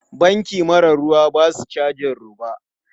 Banki mara ruwa ba su cajin roba.